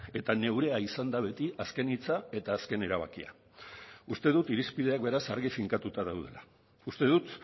eta neurea izan da beti azken hitza eta azken erabakia uste dut irizpideak beraz argi finkatuta daudela uste dut